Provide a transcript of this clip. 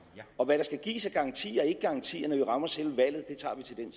og hvad der skal gives af garantier og ikkegarantier når vi rammer selve valget tager vi til den